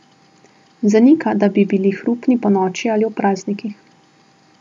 Zanika, da bi bili hrupni ponoči ali ob praznikih.